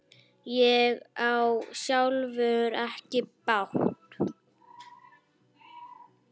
Ég á sjálfur ekki bát.